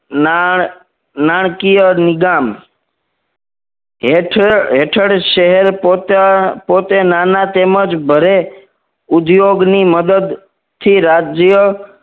નાણ નાણકીય નીગામ હેઠળ હેથળ શહેર પોતે નાના તેમ જ ભરે ઉદ્યોગ ની મદદ થી રાજ્ય